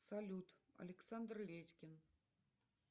салют александр редькин